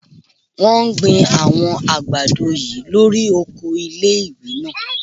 Wọ́n gbin àwọn àgbàdo yìí lórí oko ilé-ìwé náà